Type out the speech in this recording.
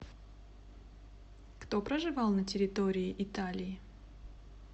кто проживал на территории италии